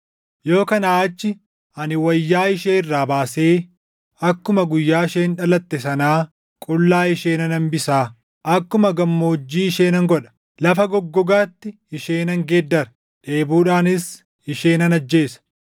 Yoo kanaa achii ani wayyaa ishee irraa baasee akkuma guyyaa isheen dhalatte sanaa qullaa ishee nan hambisaa; akkuma gammoojjii ishee nan godha; lafa goggogaatti ishee nan geeddara; dheebuudhaanis ishee nan ajjeesa.